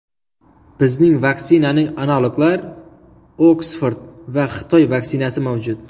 Bizning vaksinaning analoglar – Oksford va Xitoy vaksinasi mavjud.